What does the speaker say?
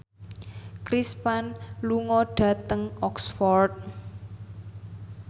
Chris Pane lunga dhateng Oxford